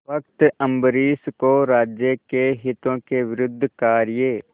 भक्त अम्बरीश को राज्य के हितों के विरुद्ध कार्य